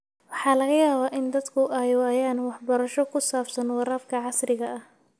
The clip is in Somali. Waxaa laga yaabaa in dadku ay waayaan waxbarasho ku saabsan waraabka casriga ah.